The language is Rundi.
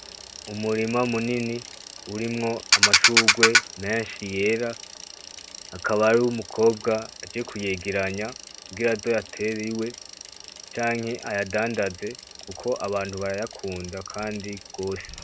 Umurima munini urimwo amashurwe menshi yera. Hakaba hariho umukobwa aje kuyegeranya kugiraaze ayatere iwe kugira ayadandaze kuko abantu barayakunda kandi gose.